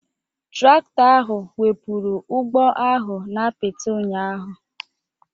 Traktọ ahụ wepụrụ ụgbọ ahụ n'apịtị ụnyahụ.